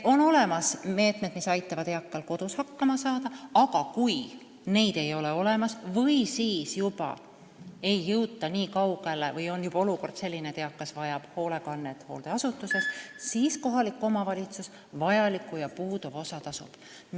On olemas meetmed, mis aitavad eakal kodus hakkama saada, aga kui neid ei ole, ei jõuta nii kaugele, või on olukord juba selline, et eakas vajab hoolekannet hooldeasutuses, siis kohalik omavalitsus vajaliku ja puuduva osa tasub.